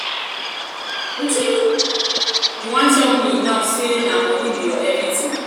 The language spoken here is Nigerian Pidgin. wetin you wetin you um wan tell me um now be say na money be your everything.